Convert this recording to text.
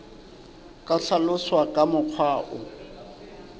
ka hlaloswa ka mokgwa o